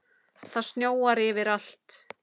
Það snjóar yfir allt.